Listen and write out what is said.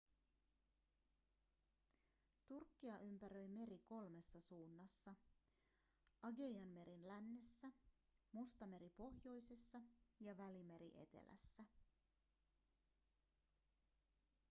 turkkia ympäröi meri kolmessa suunnassa aigeianmeri lännessä mustameri pohjoisessa ja välimeri etelässä